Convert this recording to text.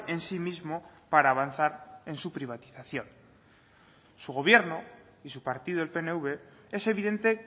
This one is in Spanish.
en sí mismo para avanzar en su privatización su gobierno y su partido el pnv es evidente